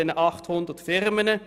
Das sind 800 Firmen.